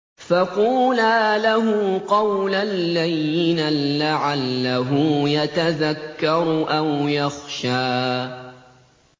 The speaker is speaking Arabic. فَقُولَا لَهُ قَوْلًا لَّيِّنًا لَّعَلَّهُ يَتَذَكَّرُ أَوْ يَخْشَىٰ